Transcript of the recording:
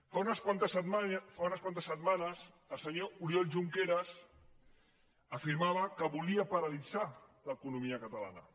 fa unes quantes setmanes el senyor oriol junqueras afirmava que volia paralitzar l’economia catalana